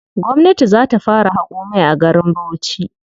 Gwamnati za ta fara haƙo mai a garin Bauchi.